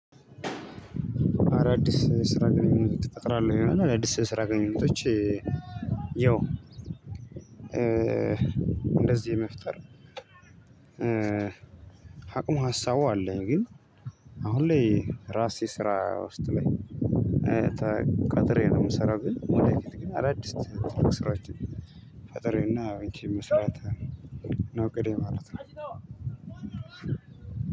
አዳዲስ ስራ ግንኙነት ትፈጥራለህ ይላል አዳዲስ ስራ ግንኙነቶች። ያው እንደዚህ የመፍጠር አቅሙ ሀሳቡ አለኝ። ግን አሁን ላይ ራሴ ስራ ውስጥ ላይ ተቀጥሬ ነው የምሰራው። ግን ወደፊት ግን አዳዲስ ስራዎችን ፈጠሬ እና እንኪ መስራት ነው እቅዴ ማለት ነው።